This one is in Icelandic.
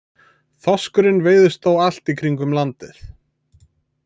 Þorskurinn veiðist þó allt í kringum landið.